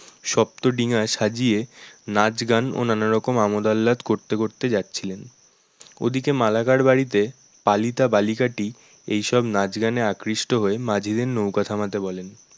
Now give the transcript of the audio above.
সপ্তডিঙা সাজিয়ে নাচ গান ও নানারকম আমোদ আল্লাদ করতে করতে যাচ্ছিলেন ওদিকে মালাকার বাড়িতে পালিতা বালিকাটি এই সব নাচ গানে আকৃষ্ট হয়ে মাঝিদের নৌকা থামাতে বলেন